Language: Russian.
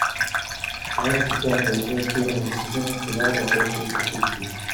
двадцать пятая часть первого сезона сериала острые козырьки